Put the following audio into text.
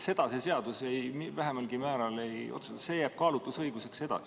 Seda see seadus vähimalgi määral ei otsusta, see jääb kaalutlusõiguseks edasi.